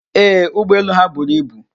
Ee, ụgbọelu ha buru ibu.